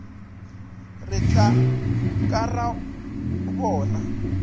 re tla ka ra bona